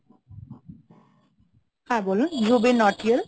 হ্যাঁ বলুন জুবিন নোটিয়েল।